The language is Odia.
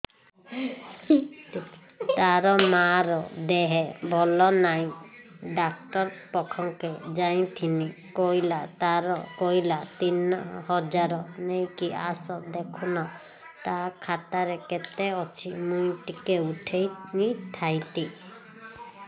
ତାର ମାର ଦେହେ ଭଲ ନାଇଁ ଡାକ୍ତର ପଖକେ ଯାଈଥିନି କହିଲା ତିନ ହଜାର ନେଇକି ଆସ ଦେଖୁନ ନା ଖାତାରେ କେତେ ଅଛି ମୁଇଁ ଟିକେ ଉଠେଇ ଥାଇତି